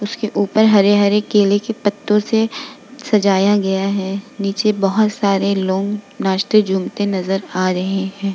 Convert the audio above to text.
उसके ऊपर हरे-हरे केले के पत्तों से सजाया गया है नीचे बहोत सारे लोग नाचते झूमते नज़र आ रहे हैं।